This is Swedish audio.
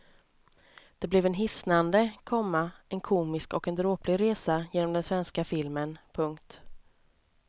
Det blev en hisnande, komma en komisk och en dråplig resa genom den svenska filmen. punkt